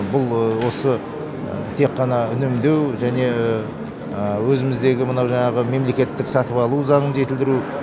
бұл осы тек қана үнемдеу және өзіміздегі мынау жаңағы мемлекеттік сатып алу заңын жетілдіру